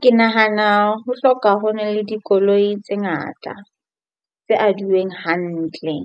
Ke nahana ho hloka ho na le dikoloi tse ngata tse adiweng hantle